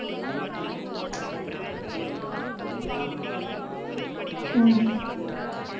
இல்லை அப்படி எல்லாம் இல்லை நாங்க போய் பார்த்தவரை வந்துட்டு எங்களுக்கு வந்து அப்படி காட்டலை